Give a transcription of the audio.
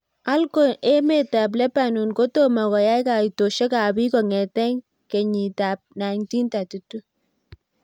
alco emet ab Lebanon kotomo koyai kaitoshek ab pik konget kei kenyit ab 1932